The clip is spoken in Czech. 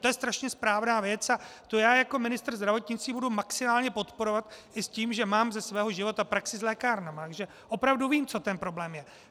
To je strašně správná věc a to já jako ministr zdravotnictví budu maximálně podporovat i s tím, že mám ze svého života praxi s lékárnami, takže opravdu vím, co ten problém je.